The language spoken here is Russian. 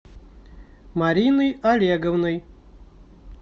мариной олеговной